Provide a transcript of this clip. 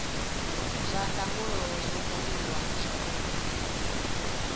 zwa ndangulo zwo buliwa zwavhudi